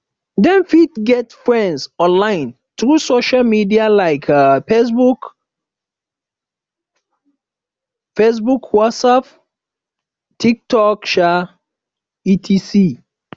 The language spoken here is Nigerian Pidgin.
dem fit get friends online through social media like um fabebook fabebook whatsapp um tiktok um etc